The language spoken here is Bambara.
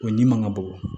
O ɲinga ka bon